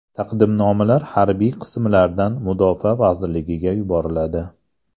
Taqdimnomalar harbiy qismlardan Mudofaa vazirligiga yuboriladi.